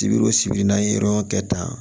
Sibiri wo sibiri n'an ye yɔrɔ kɛ tan